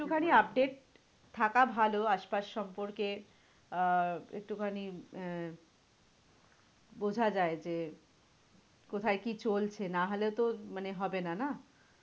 একটু খানি update থাকা ভালো আশপাশ সম্পর্কে আহ একটু খানি উম বোঝা যায় যে, কোথায় কি চলছে? না হলে তো মানে হবেনা, না?